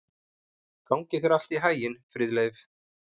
Gangi þér allt í haginn, Friðleif.